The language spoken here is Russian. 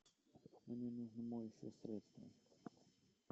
мне нужно моющее средство